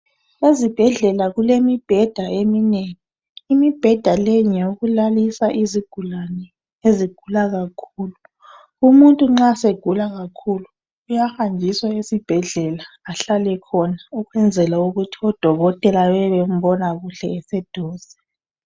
Ezibhedlela kulemibheda eminengi .Imibheda le ngeyokulalisa izigulane ezigula kakhulu .Umuntu nxa segula kakhulu uyahanjiswa esibhedlela ahlale khona .Ukwenzela ukuthi odokotela bebe bembona kuhle eseduze .